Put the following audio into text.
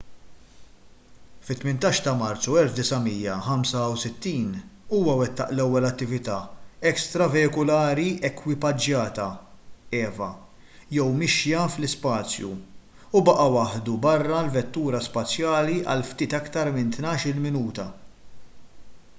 fit-18 ta’ marzu 1965 huwa wettaq l-ewwel attività ekstraveikulari ekwipaġġata eva jew mixja fl-ispazju u baqa’ waħdu barra l-vettura spazjali għal ftit iktar minn tnax-il minuta